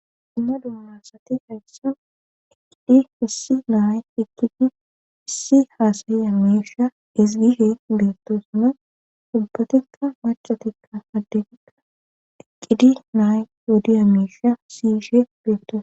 dumma dummassati hessan iqqidi hissi nay iqidi issi haasayi amiisha isgishe beettosuna ubbatekka macatikka addegika eqqidi nay yodi amiisha siyishe beento